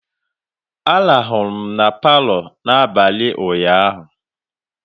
Arahụ m na Palọ n'abalị ụnyaahụ